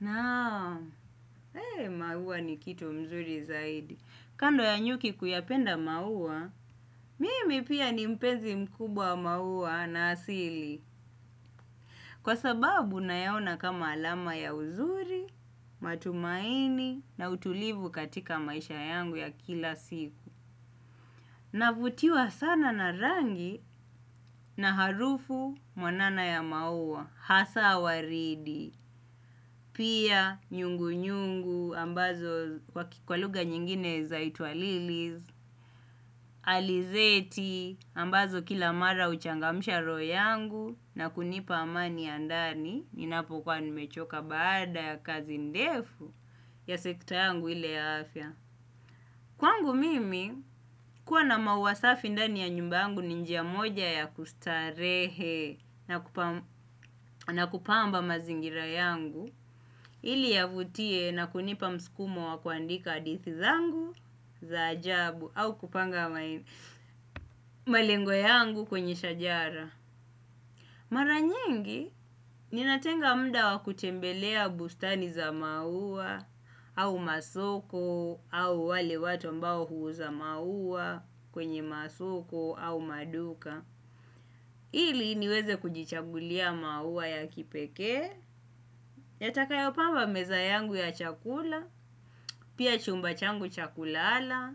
Naam maua ni kitu mzuri zaidi kando ya nyuki kuyapenda maua mimi pia ni mpenzi mkubwa wa maua na asili. Kwa sababu nayaona kama alama ya uzuri, matumaini na utulivu katika maisha yangu ya kila siku. Navutiwa sana na rangi na harufu mwanana ya maua, hasa waridi, pia nyungu nyungu ambazo kwa kwa lugha nyingine zaitwa lilis, alizeti ambazo kila mara huchangamsha royo yangu na kunipa amani ya ndani ninapokuwa nimechoka baada ya kazi ndefu ya sekta yangu ile ya afya. Kwangu mimi, kuwa na maua safi ndani ya nyumba yangu ni njia moja ya kustarehe na kupamba mazingira yangu, ili yavutie na kunipa msukumo wa kuandika hadithi zangu za ajabu au kupanga malengo yangu kwenye shajara. Mara nyingi ninatenga muda wa kutembelea bustani za maua au masoko au wale watu ambao huuza maua kwenye masoko au maduka. Ili niweze kujichagulia maua ya kipekee yatakayopamba meza yangu ya chakula, pia chumba changu cha kulala,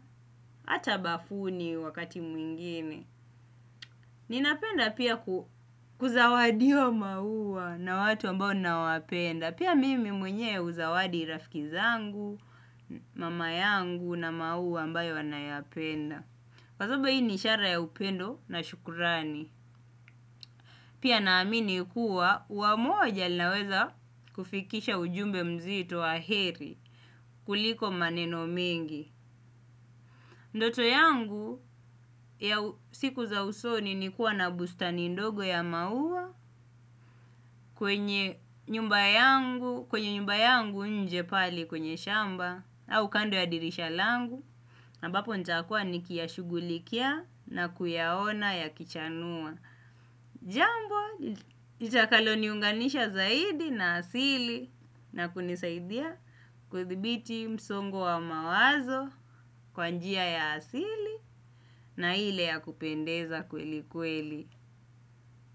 hata bafuni wakati mwingine. Ninapenda pia kuzawadiwa maua na watu ambao ninawapenda. Pia mimi mwenye huzawadi rafiki zangu, mama yangu na maua ambayo anayapenda. Kwa sababu hii ni ishara ya upendo na shukurani. Pia naamini kuwa ua moja linaweza kufikisha ujumbe mzito wa heri kuliko maneno mingi ndoto yangu ya siku za usoni ni kuwa na bustani ndogo ya maua kwenye nyumba yangu nje pale kwenye shamba au kando ya dirisha langu ambapo nitakua nikiyashugulikia na kuyaona ya kichanua. Jambo, litakalo niunganisha zaidi na asili na kunisaidia kuthibiti msongo wa mawazo kwa njia ya asili na ile ya kupendeza kweli kweli.